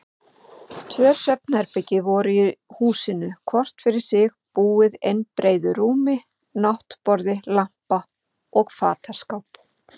Tvö svefnherbergi voru í húsinu, hvort fyrir sig búið einbreiðu rúmi, náttborði, lampa og fataskáp.